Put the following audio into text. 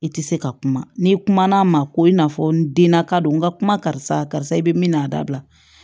I tɛ se ka kuma n'i kuma na a ma ko i n'a fɔ n denna ka don n ka kuma karisa karisa i bɛ min n'a dabila